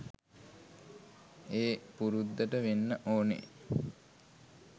ඒ පුරුද්දට වෙන්න ඕනේ.